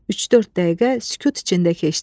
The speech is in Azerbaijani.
Üç-dörd dəqiqə sükut içində keçdi.